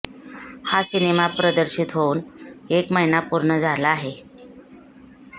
हा सिनेमा प्रदर्शित होऊन एक महिना पूर्ण झाला आहे